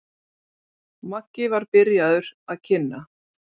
Maggi var byrjaður að kynna.